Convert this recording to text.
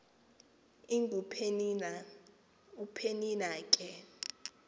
ingupenina upenina ke